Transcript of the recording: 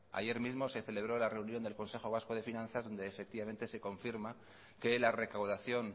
ayer mismo se celebró la reunión del consejo vasco de finanzas donde efectivamente se confirma que la recaudación